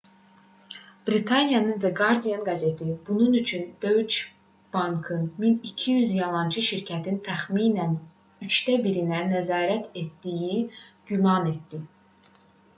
britaniyanın the guardian qəzeti bunun üçün deutsche bankın 1200 yalançı şirkətin təxminən üçdə birinə nəzarət etdiyini güman etdi